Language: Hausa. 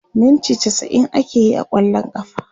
minti chasa'in akeyi a kwallon kafa